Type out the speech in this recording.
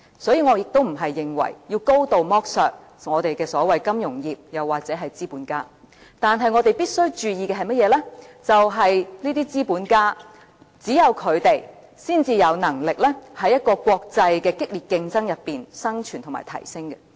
因此，我亦不是認為要高度剝削金融業或資本家，但我們必須注意的是，只有這些資本家，才有能力在國際的激烈競爭中生存及提升。